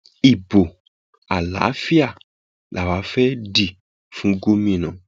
ibo àlàáfíà làwa fẹẹ dì fún gómìnà